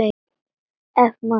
Ef svo má segja.